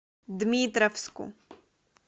дмитровску